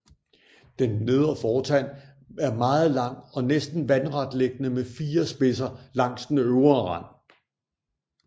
Den nedre fortand er meget lang og næsten vandretliggende med fire spidser langs den øvre rand